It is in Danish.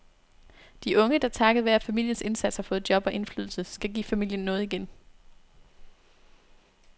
De unge, der takket være familiens indsats har fået job og indflydelse, skal give familien noget igen.